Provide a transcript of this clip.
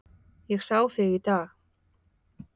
Ég sá þig í dag